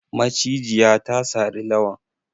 Macijiya ta sari Lawan.